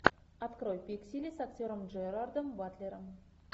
открой пиксели с актером джерардом батлером